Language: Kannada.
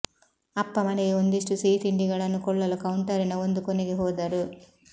ಅಪ್ಪ ಮನೆಗೆ ಒಂದಿಷ್ಟು ಸಿಹಿತಿಂಡಿಗಳನ್ನು ಕೊಳ್ಳಲು ಕೌಂಟರಿನ ಒಂದು ಕೊನೆಗೆ ಹೋದರು